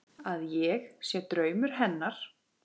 Að ég sé draumur hennar.